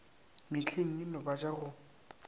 mehleng yeno ba ja go